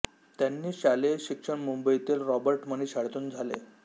त्यांनी शालेय शिक्षण मुंबईतील रॉबर्ट मनी शाळेतून झाले